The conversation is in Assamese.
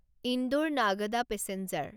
ইন্দোৰ নাগদা পেছেঞ্জাৰ